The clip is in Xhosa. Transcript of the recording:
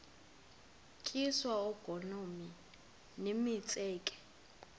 tyiswa oogolomi nemitseke